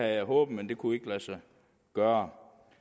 jeg håbet men det kunne ikke lade sig gøre